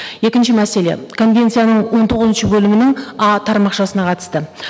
екінші мәселе конвенцияның он тоғызыншы бөлімінің а тармақшасына қатысты